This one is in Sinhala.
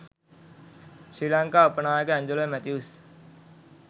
ශ්‍රී ලංකා උප නායක ඇන්ජලෝ මැතිව්ස්